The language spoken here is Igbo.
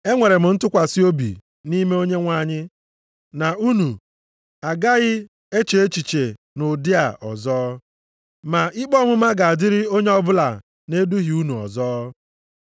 Enwere m ntụkwasị obi nʼime Onyenwe anyị na unu agaghị eche echiche nʼụdị a ọzọ, ma ikpe ọmụma ga-adịrị onye ọbụla na-eduhie unu ọzọ.